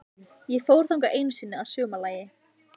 Ég fór þangað einu sinni að sumarlagi.